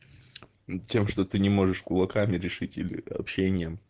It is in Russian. тем что ты не можешь кулаками решить или общением